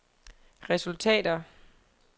resultater